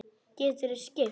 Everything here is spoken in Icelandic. Geturðu skipt?